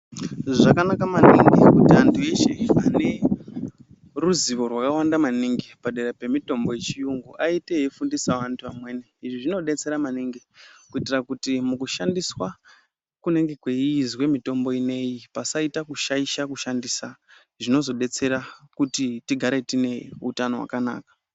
Zvakanaka maningi kuti antu eshe ane ruzivo zvakawanda maningi padera pemitombo yechiyungu aite eifundisawo antu amweni izvi zvinodetsera maningi kuitira kuti mukushandiswa kunenge kweiizwa mitombo inei pasaita kushaisha kushandisa zvinozodetsera kuti tigare tine utano hwakanaka.